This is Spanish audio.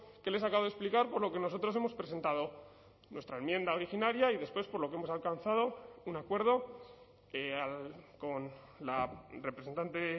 que les acabo de explicar por lo que nosotros hemos presentado nuestra enmienda originaria y después por lo que hemos alcanzado un acuerdo con la representante